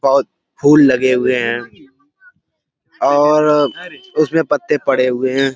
बहुत फूल लगे हुए हैं और उसमें पत्ते पड़े हुए हैं।